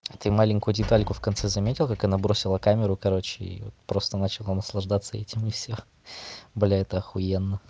ты маленькую детальку в конце заметил как она бросила камеру короче и просто начала наслаждаться этим и всё бля это охуенно